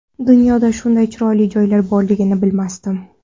Dunyoda shunday chiroyli joylar borligini bilmasdim.